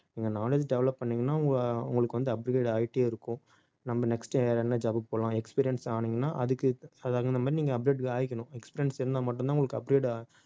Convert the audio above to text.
நீங்க knowledge develop பண்ணீங்கன்னா உங்க~ உங்களுக்கு வந்து upgrade ஆயிட்டே இருக்கும் நம்ம next என்ன job க்கு போலாம் experience ஆனீங்கன்னா அதுக்கு தகுந்த மாதிரி நீங்க update ஆயிக்கணும் experience இருந்தா மட்டும்தான் உங்களுக்கு update ஆ